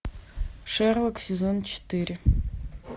шерлок сезон четыре